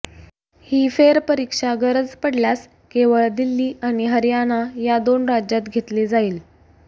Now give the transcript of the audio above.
ही फेरपरीक्षा गरज पडल्यास केवळ दिल्ली आणि हरयणा या दोन राज्यात घेतली जाईल